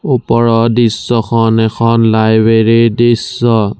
ওপৰৰ দৃশ্যখন এখন লাইব্ৰেৰী ৰ দৃশ্য।